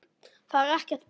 Það er ekkert bull.